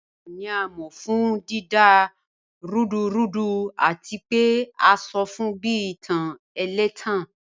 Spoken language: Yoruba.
Eshu ni a mọ fun dida rudurudu ati pe a sọ fun bi itan ẹlẹtan